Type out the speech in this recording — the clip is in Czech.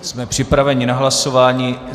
Jsme připraveni k hlasování.